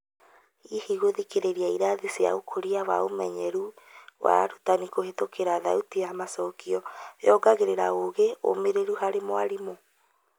Hihi gũthikĩrĩria ĩrathi cia ũkũria wa ũmenyeru wa arutani kũhetũkĩra thauti ya macokio yongagĩrĩra ũgĩ ũmĩrĩru harĩ mwarĩmũ ?